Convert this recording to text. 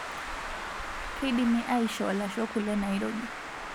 Keidimi aishoo lasho kule naairobi.